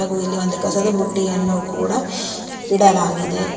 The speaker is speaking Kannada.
ಹಾಗು ಇಲ್ಲಿ ಒಂದು ಕಸದ ಬುಟ್ಟಿಯನ್ನು ಕೂಡ ಇಡಲಾಗಿದೆ.